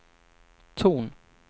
ton